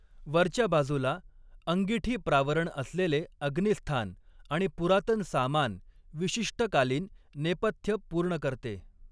वरच्या बाजूला अंगिठीप्रावरण असलेले अग्निस्थान आणि पुरातन सामान, विशिष्ट कालीन नेपथ्य पूर्ण करते.